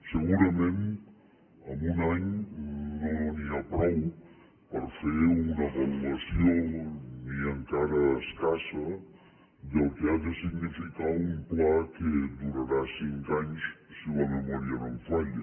segurament amb un any no n’hi ha prou per fer una valoració ni encara escassa del que ha de significar un pla que durarà cinc anys si la memòria no em falla